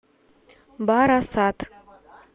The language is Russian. барасат